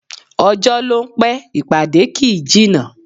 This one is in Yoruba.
Ọjọ́ ló ń pẹ́, ìpàdé kì í jìnnà